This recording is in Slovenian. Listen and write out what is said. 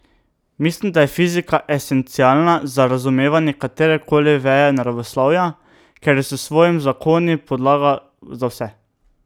Mislim, da je fizika esencialna za razumevanje katere koli veje naravoslovja, ker je s svojimi zakoni podlaga za vse.